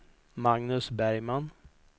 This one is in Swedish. Magnus Bergman